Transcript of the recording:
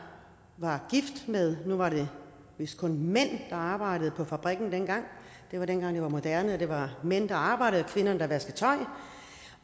gift med nu var det vist kun mænd der arbejdede på fabrikken dengang det var dengang det var moderne at det var mændene der arbejdede